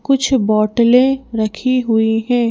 कुछ बोतलें रखी हुई हैं।